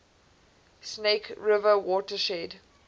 snake river watershed